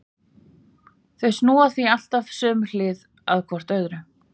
Þau snúa því alltaf sömu hlið að hvor öðru.